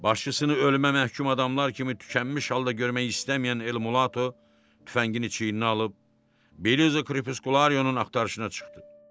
Başçısını ölümə məhkum adamlar kimi tükənmiş halda görmək istəməyən Ele Mulatto tüfəngini çiyninə alıb, Beriza Kripuskularyonun axtarışına çıxdı.